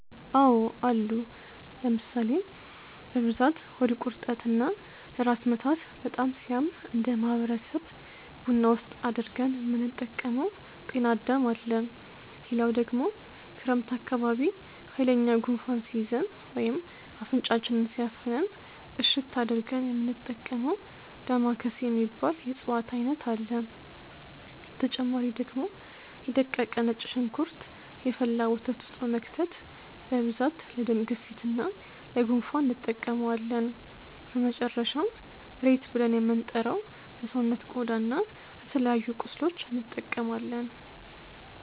አዎ አሉ ለምሳሌ፦ በብዛት ሆድ ቁርጠት እና ለራስ ምታት በጣም ሲያም እነደ ማህበረሰብ ቡና ውስጥ አድርገን የምንጠቀመው ጤናዳም አለ፣ ሌላው ደግሞ ክረምት አካባቢ ሃይለኛ ጉንፋን ሲይዘን ወይም አፍንጫችንን ሲያፍነን እሽት አድርገን የሚንጠቀመው ዳማከሴ የሚባል የእፅዋት አይነት አለ፣ በተጨማሪ ደግሞ የ ደቀቀ ነጭ ሽንኩርት የፈላ ወተት ውስጥ በመክተት በብዛት ለደም ግፊት እና ለ ጉንፋን እንጠቀመዋለን፣ በመጨረሻም ሬት ብልን የምንጠራው ለሰውነት ቆዳ እና ለተለያዩ ቁስሎች እንጠቀማለን።